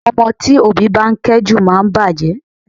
Àwọn ọmọ tí òbí bá kẹ́ jù máa ń bàjẹ́